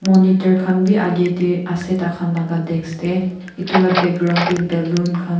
monitor kan bi akeh dae ase takan laka desk dae etu la background dae balloon kan.